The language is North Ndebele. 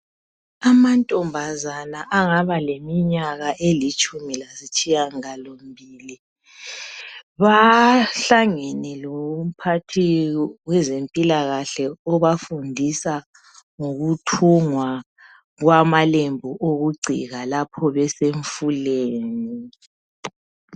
Amantombazana angabe leminyaka elitshumi lasitshiya ngalombili bahlangene lomphathi wezempilakahle obafundisa ngokuthungwa kwamalembu okugcika lapho besemfuleni.